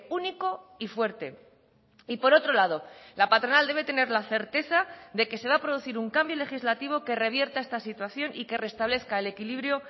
único y fuerte y por otro lado la patronal debe tener la certeza de que se va a producir un cambio legislativo que revierta esta situación y que restablezca el equilibrio